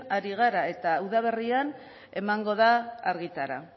ari gara eta udaberrian emango da argitara